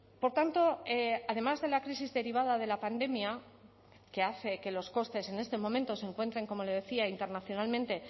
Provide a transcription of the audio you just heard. por tanto además de la crisis derivada de la pandemia que hace que los costes en este momento se encuentren como le decía internacionalmente